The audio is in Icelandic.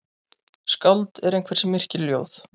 Skáld er einhver sem yrkir ljóð.